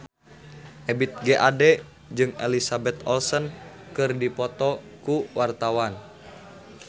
Ebith G. Ade jeung Elizabeth Olsen keur dipoto ku wartawan